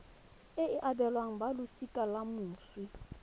e abelwang balosika la moswi